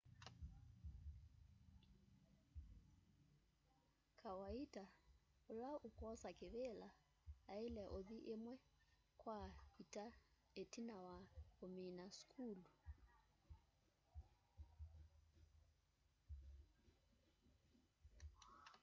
kawaita ula ukwosa kivila aile uthi imwe kwa ita itina wa umina sukulu